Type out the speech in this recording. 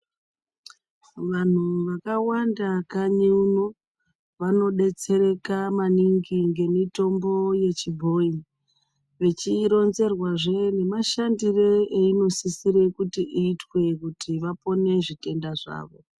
Vantu vakawanda kanyi uno vanodetsereka maningi ngemitombo yechibhoyi vachironzerwazve nemashandire einosisire kuti iitwe kuti vapone zvitenda zvavo.